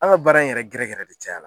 An ga baara in yɛrɛ gɛrɛ gɛrɛ de caya la